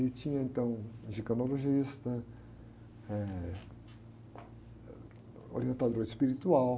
E tinha, então, ginecologista, eh, orientador espiritual.